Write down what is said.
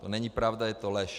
To není pravda, je to lež.